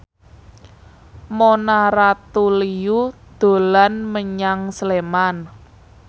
Mona Ratuliu dolan menyang Sleman